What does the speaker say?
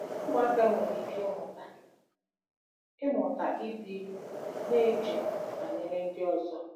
Ụmụaka nwere ike ịmụta ịmụta ịdị na-eche banyere ndị ọzọ